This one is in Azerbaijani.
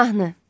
Mahnı.